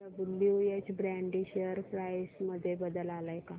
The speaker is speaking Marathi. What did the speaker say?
डब्ल्युएच ब्रॅडी शेअर प्राइस मध्ये बदल आलाय का